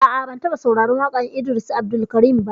A'a, ban taɓa sauraran waƙan Idris Abdulkarim ba